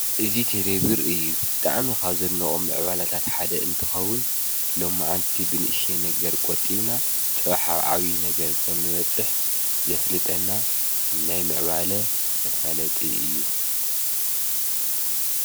እዙ ቴሌብር እዩ ብጥዕሚ ኻብ ዘኖኦም ምዕባላታት ሓደ እንትኸዉን ሎ መዓንቲ ብንእሸ ነገር ቆጢብና ጸውሓብዓዊ ነገር ከም ንበጽሕ ዘፍልጠና ናይ ምዕባለ መፋለጢ እዩ።